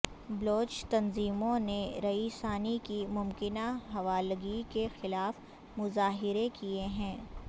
بلوچ تنظیموں نے رئیسانی کی ممکنہ حوالگی کے خلاف مظاہرے کیے ہیں